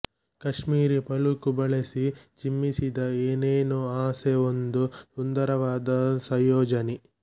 ಕಾಶ್ಮೀರಿ ಪಲುಕು ಬಳಸಿ ಚಿಮ್ಮಿಸಿದ ಏನೇನೋ ಆಸೆ ಒಂದು ಸುಂದರವಾದ ಸಂಯೋಜನೆ